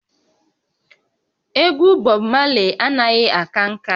Egwu Bob Marley anaghị aka nka